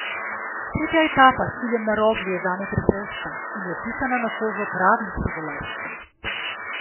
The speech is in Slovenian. Tretja etapa s ciljem na Rogli je zame pretežka in je pisana na kožo pravim hribolazcem.